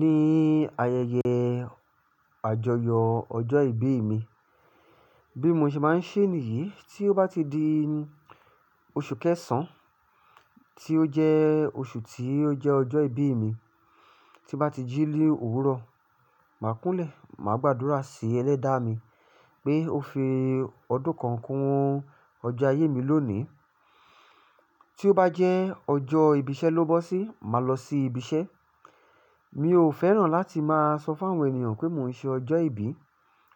Ní ayẹyẹ àjọyọ̀ ọjọ́ ìbí mi, bí mo ṣe máa ń ṣe nìyí, tí ó bá ti di oṣù kẹsàn-án tí ó jẹ́ oṣù tí ó jẹ́ ọjọ́ ìbí mi, tí bá ti jí lé òwúrọ̀, màá kúnlẹ̀, màá gbàdúrà sí Ẹlẹ́dàá mi pé ó fi ọdún kan kún ọjọ́ ayé mi lónìí. Tí ó bá jẹ́ ọjọ́ ìbí iṣẹ́ ló bọ́ sí, màá lọ sí ibi iṣẹ́. Mi ò fẹ́ràn láti máa sọ fún àwọn ènìyàn pé mò ń ṣe ọjọ́ ìbí,